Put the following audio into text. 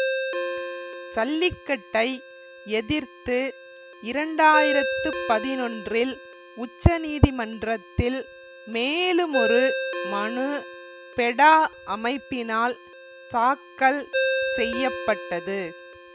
சல்லிக்கட்டை எதிர்த்து இரண்டு ஆயிரத்தி பதினொன்றில் உச்சநீதிமன்றத்தில் மேலுமொரு மனு பெடா அமைப்பினால் தாக்கல் செய்ய பட்டது